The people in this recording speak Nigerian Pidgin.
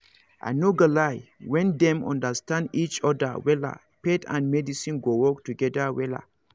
i no go lie when dem understand each other wella faith and medicine go work together wella